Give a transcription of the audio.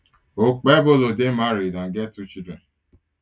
okpebholo day married and get two children